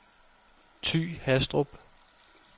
Ty Hastrup